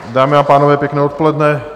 Dámy a pánové, pěkné odpoledne.